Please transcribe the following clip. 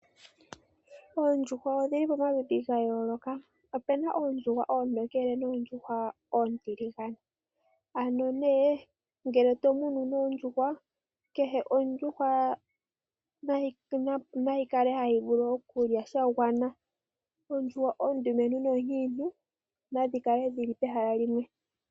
Oondjuhwa odhili pamaludhi ga yooloka. Opena oondjuhwa oontokele noontiligane. Ano nee ngele to munu nee oondjuhwa kehe ondjuhwa nayi kale hayi vulu okulya sha gwana. Oondjuhwa oonkiintu noondumentu nadhi kala dhili pehala limwe.